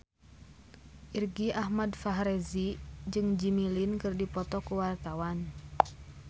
Irgi Ahmad Fahrezi jeung Jimmy Lin keur dipoto ku wartawan